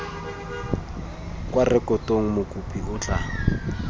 kwa rekotong mokopi o tla